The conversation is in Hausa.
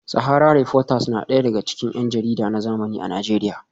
Sahara reporters na daga cikin yan jarida na zamani a Najeriya